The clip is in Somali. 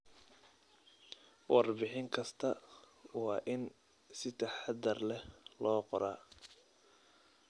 Warbixin kasta waa in si taxadar leh loo qoraa.